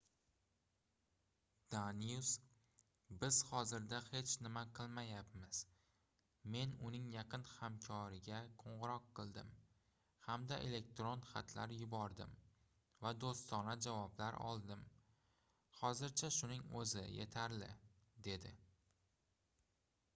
danius biz hozirda hech nima qilmayapmiz men uning yaqin hamkoriga qoʻngʻiroq qildim hamda elektron xatlar yubordim va doʻstona javoblar oldim hozircha shuning oʻzi yetarli dedi